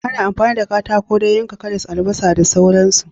Ana amfani da katako don yanka karas, albasa da sauran su